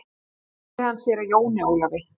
Svo sneri hann sér að Jóni Ólafi.